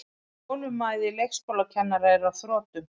Þolinmæði leikskólakennara er á þrotum